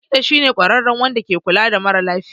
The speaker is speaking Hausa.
Likita shi ne kwarare Wanda ke kula da mara sa lafiya.